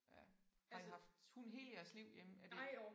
Ja har I haft hund hele jeres liv hjemme er det